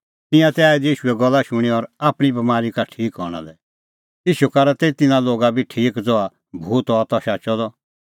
तिंयां तै आऐ दै ईशूए गल्ला शूणैं और आपणीं बमारी का ठीक हणां लै ईशू करा तै तिन्नां लोगा बी ठीक ज़हा भूत हआ त शाचअ द